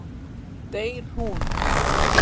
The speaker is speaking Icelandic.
Deyr hún?